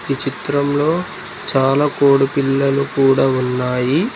ఈ చిత్రంలో చాలా కోడి పిల్లలు కూడా ఉన్నాయి.